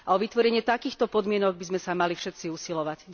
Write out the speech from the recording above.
A o vytvorenie takýchto podmienok by sme sa mali všetci usilovať.